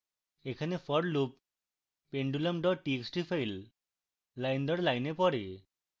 এখানে for loop pendulum txt file line দর line পড়ে